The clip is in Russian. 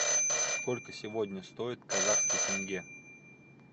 сколько сегодня стоит казахский тенге